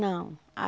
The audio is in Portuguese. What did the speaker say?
Não.